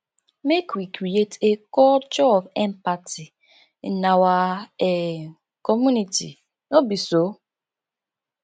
make we create a culture of empathy in our um community no be so